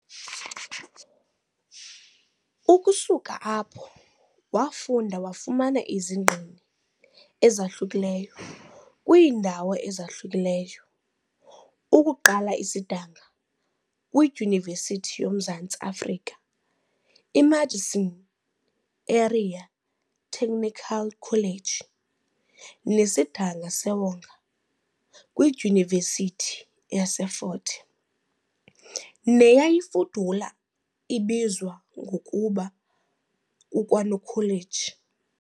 Ukusuka apho, wafunda wafumana izingqini ezahlukileyo kwiindawo ezahlukileyo ukuquka isidanga kwidyunivesithi yoMzantsi Afrika, iMadison Area Technical College, nesidinga sewonga kwidyunivesithi yaseFort Hare neyayifudula ibizwa ngokuba kukwaNokholeji.